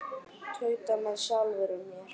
Tauta með sjálfri mér.